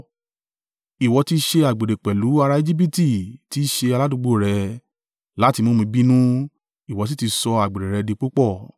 Ìwọ ti ṣe àgbèrè pẹ̀lú ará Ejibiti tí í ṣe aládùúgbò rẹ láti mú mi bínú ìwọ sì ti sọ àgbèrè rẹ di púpọ̀.